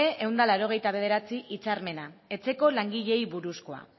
ehun eta laurogeita bederatzi hitzarmena etxeko langileei buruzkoa